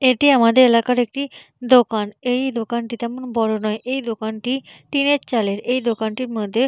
এটি আমাদের এলাকার একটি দোকান। এই দোকানটি তেমন বড় নয় এই দোকানটি টিনের চালের এই দোকানটির মধ্যে।